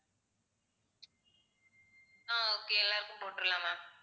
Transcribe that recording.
அஹ் okay எல்லாருக்கும் போட்டுடலாம் ma'am